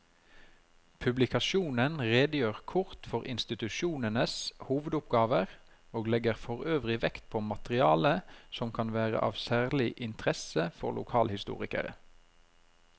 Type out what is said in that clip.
Publikasjonen redegjør kort for institusjonenes hovedoppgaver og legger forøvrig vekt på materiale som kan være av særlig interesse for lokalhistorikere.